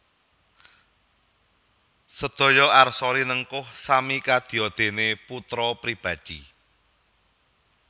Sedaya arsa rinengkuh sami kadya dene putra pribadi